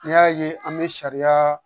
N'i y'a ye an bɛ sariya